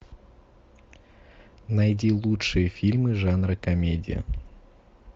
найди лучшие фильмы жанра комедия